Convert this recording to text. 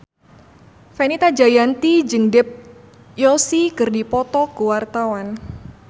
Fenita Jayanti jeung Dev Joshi keur dipoto ku wartawan